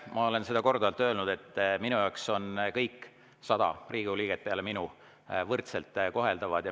Ma olen seda korduvalt öelnud, et minu jaoks on kõik sada Riigikogu liiget lisaks minule võrdselt koheldavad.